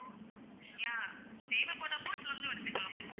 yeah தேவைப்படுறப்போ இதுலருந்தும் எடுத்துக்கலாம்.